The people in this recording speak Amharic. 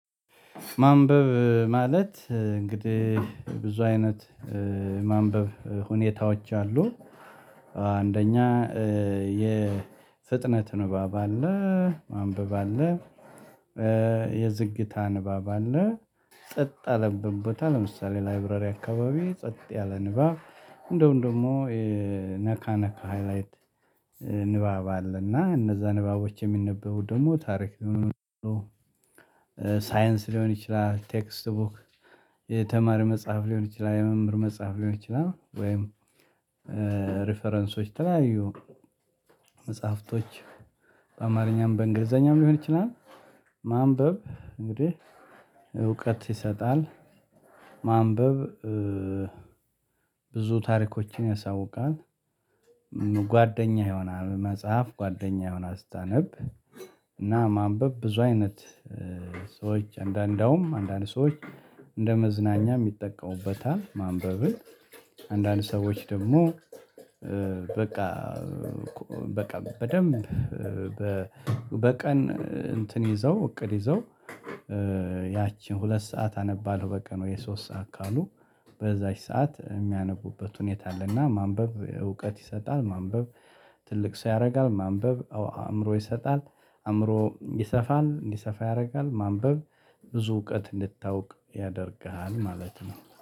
ማንበብ ማለት እንግዲህ ብዙ አይነት ማንበብ ሁኔታዎች አሉ። አንደኛ የፍጥነት ንባብ አለ። ማንበብ አለ። የዝግታ ንባብ አለ። ጸጥ ያለበት ቦታ ለምሳሌ ላይብረሪ አካባቢ ጸጥ ያለ ንባብ እንደውም ደግሞ ነካ ነካ ሃይላይት። ንባብ አለ እና እነዛ ንባቦች የሚነበበው ደግሞ ታሪክ ሊሆን ይችላል። ሳይንስ ሊሆን ይችላል ቴክስት ቡክ። የተማሪ መጽሐፍ ሊሆን ይችላል የመምህር መጽሐፍ ሊሆን ይችላል ወይም ሪፈረንሶች የተለያዩ መጽሐፍቶች በአማርኛም በእንግሊዘኛም ሊሆን ይችላል። ማንበብ እንግዲህ እውቀት ይሰጣል። ማንበብ ብዙ ታሪኮችን ያሳውቃል። ጓደኛህ ይሆናል መጽሐፍ ጓደኛህ ይሆናል አስታነብ። እና ማንበብ ብዙ አይነት ሰዎች አንዳንዳውም አንዳንድ ሰዎች እንደ መዝናኛ ይጠቀሙበት ማንበብን። አንዳንድ ሰዎች ደግሞ በቃ በቃ በደንብ በ በቀን እንትን ይዘው እቅድ ይዘው። ያቺን ሁለት ሰዓት አነባለሁ በቀን ወይ ሶስት ሰዓት ካሉ። በዛች ሰዓት የሚያነቡበት ሁኔታ አለና ማንበብ እውቀት ይሰጣል ማንበብ። ትልቅ ሰው ያደርጋል። ማንበብ አእምሮ ይሰጣል። አእምሮ ይሰፋል እንዲሰፋ ያደርጋል ማንበብ። ብዙ እውቀት እንድታውቅ ያደርግሃል ማለት ነው